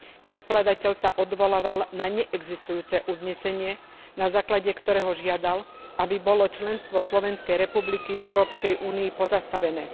Predkladateľ sa odvolával na neexistujúce uznesenie, na základe ktorého žiadal, aby bolo členstvo Slovenskej republiky v Európskej únii pozastavené.